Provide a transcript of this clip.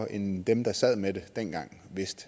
end dem der sad med det dengang vidste